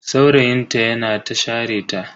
Saurayin ta yana ta share ta.